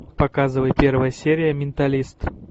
показывай первая серия менталист